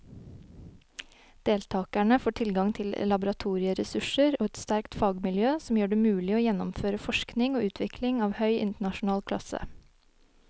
Deltakerne får tilgang til laboratorieressurser og et sterkt fagmiljø som gjør det mulig å gjennomføre forskning og utvikling av høy internasjonal klasse.